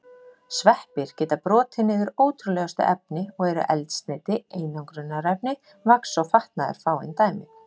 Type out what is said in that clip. Sveppir geta brotið niður ótrúlegustu efni og eru eldsneyti, einangrunarefni, vax og fatnaður fáein dæmi.